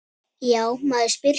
Já, maður spyr sig?